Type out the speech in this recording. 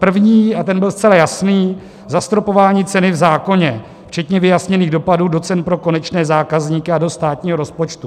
První, a ten byl zcela jasný, zastropování ceny v zákoně včetně vyjasněných dopadů do cen pro konečné zákazníky a do státního rozpočtu.